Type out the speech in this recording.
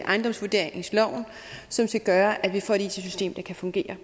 ejendomsvurderingsloven som skal gøre at vi får et it system der kan fungere